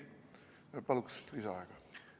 Paluks lisaaega!